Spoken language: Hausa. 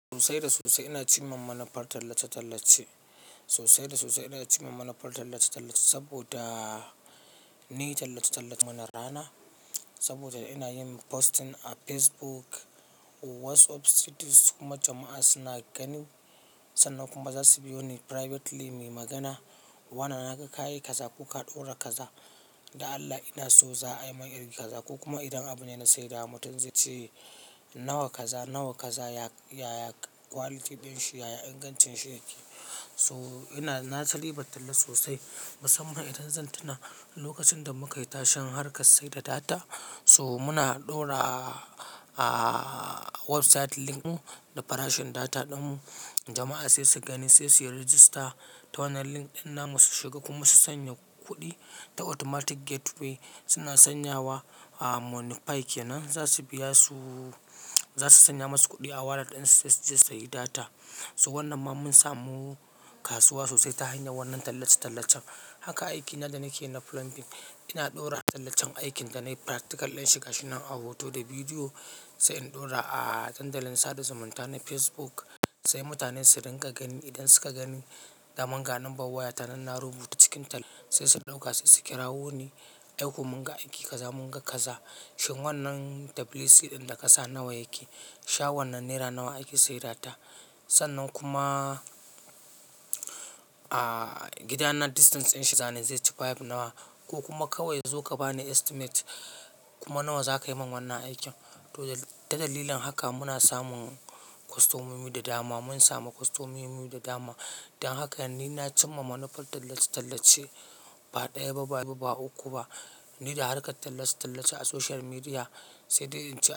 Sosai da sosai ina cimma manufar tallace-tallace. Sosai da sosai ina cimma manufar tallace-tallace saboda ni tallace-tallace mana rana, saboda ina yin posting a Facebook, WhatsApp status kuma jama'a suna gani sannan kuma za su biyo ni privately muyi magana. Wane na ga kayi kaza ko ka ɗaura kaza, da Allah ina so za a yi mani iri kaza ko kuma idan abune na saida wa mutum zai ce nawa kaza, nawa kaza ya ya quality ɗin shi, ya ya ingancin shi yake. To ina na san dai ban talla sosai musamman idan zan tuna lokacin da muka yi tashen har kar sai da data so muna ɗaura a website link ɗin mu da farashin data ɗin mu. Jama'a sai su gani sai su register ta wannan link ɗin namu su shiga kuma su sanya kuɗi ta automatic gateway. Suna sanyawa a Moniepay kenan za su biya su, za su sanya masu kuɗi a wallet ɗin su sai su sayi data. To wannan ma mun samu kasuwa sosai ta hanyar wannan tallace-tallacen. Haka aikina da nake yi na plumbing ina ɗaura tallacen aikin da nayi practical ɗinshi ga shi nan a hoto da bidiyo sai in ɗaura a dandalin sada zumunta na Facebook sai mutane su rinƙa gani. Idan suka gani da man ga numbet waya ta nan na rubuta cikin talla sai su ɗauka sai su kirawo ni. Ai ko mun ga aiki kaza mun ga kaza. Shin wannan WC ɗin da kasa nawa yake? Sha wannan naira nawa ake saids ta? Sannan kuma, a gida na distance ɗin shi zane zai ci five nawa ko kuma kawai zo ka bani estimate kuma nawa za ka yi min wannan aikin. To ta dalilin haka muna samun kostomomi da dama. Mun samu kostomomi da dama don haka ni na cimma manufar tallace-tallace. Ba ɗaya ba, ba uku ba ni da harkar tallace-tallace a social media sai dai in ce.